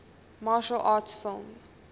martial arts film